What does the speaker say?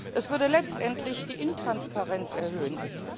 Es würde letztendlich die Intransparenz erhöhen.